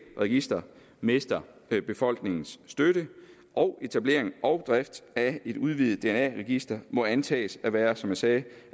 registre mister befolkningens støtte og etablering og drift af et udvidet dna register må antages at være som jeg sagde